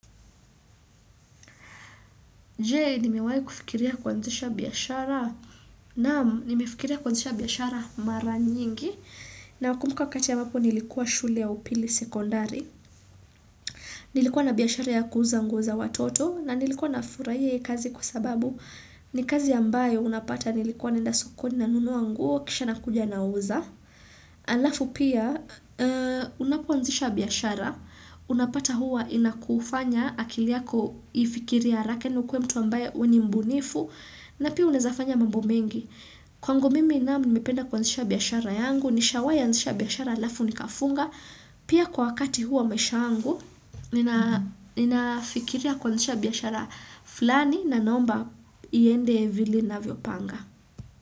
Jei nimewahi kufikiria kuanzisha biashara naam nimefikiria kuanzisha biashara mara nyingi nakumbuka wakati ambapo nilikuwa shule ya upili sekondari. Nilikuwa na biashara ya kuuza nguo za watoto na nilikuwa nafurahia hii kazi kwa sababu ni kazi ya ambayo unapata nilikuwa naenda sokoni nanunua nguo kisha nakuja nauza. Alafu pia unapoanzisha biashara unapata huwa inakufanya akili yako ifikiri haraka na ukuwe mtu ambaye wewe ni mbunifu na pia unaeza fanya mambo mengi kwangu mimi naam nimependa kuanzisha biashara yangu, nishawahi anzisha biashara alafu nikafunga pia kwa wakati huwa maisha yangu ninafikiria kuanzisha biashara fulani na naomba iende vile ninavyopanga.